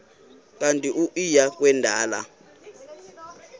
kanti uia kwendela